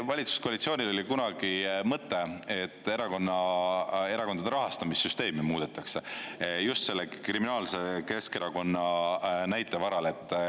Valitsuskoalitsioonil oli kunagi mõte, et erakonna, erakondade rahastamissüsteemi muudetakse just selle kriminaalse Keskerakonna näite varal.